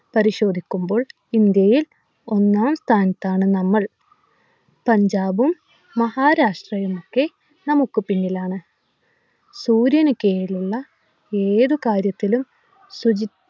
പരിശോധിക്കുമ്പോൾ ഇന്ത്യയിൽ ഒന്നാം സ്ഥാനത്താണ് നമ്മൾ പഞ്ചാബും മഹാരാഷ്ട്രയുമൊക്കെ നമുക്ക് പിന്നിലാണ് സൂര്യന് കീഴിലുള്ള ഏത് കാര്യത്തിലും ശുചി